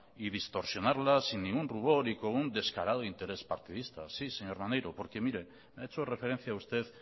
y distorsionarla sin ningún rubor y con un descarado interés partidista sí señor maneiro porque mire ha hecho referencia usted